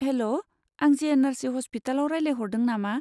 हेल'! आं जि.एन.आर.सि. हस्पिटालआव रायलायहरदों नामा?